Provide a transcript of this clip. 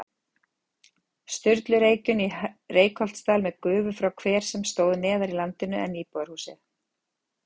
Sturlureykjum í Reykholtsdal með gufu frá hver sem stóð neðar í landinu en íbúðarhúsið.